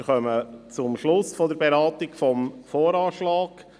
Wir kommen zum Schluss der Beratung des VA.